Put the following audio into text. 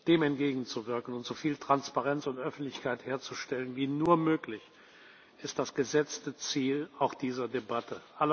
Dem entgegenzuwirken und so viel Transparenz und Öffentlichkeit herzustellen wie nur möglich, ist das gesetzte Ziel auch dieser Debatte.